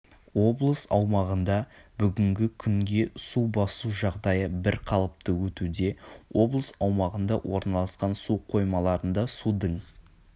облыс аумағында бүгінгі күнге су басу жағдайы бір қалыпты өтуде облыс аумағында орналасқан су қоймаларында судың